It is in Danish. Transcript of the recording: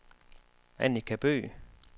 Annika Bøgh